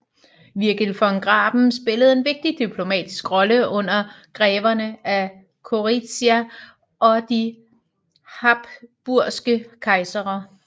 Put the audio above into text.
Virgil von Graben spillede en vigtig diplomatisk rolle under greverne af Gorizia og de habsburgske kejsere